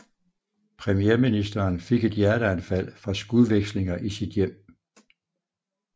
Premierministeren fik et hjerteanfald fra skudvekslinger i sit hjem